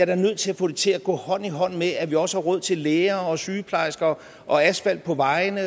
da nødt til at få det til at gå hånd i hånd med at vi også har råd til læger og sygeplejersker og asfalt på vejene